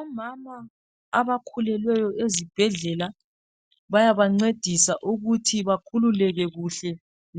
Omama abakhulelweyo ezibhedlela bayaba ncedisa ukuthi bakhululeke kuhle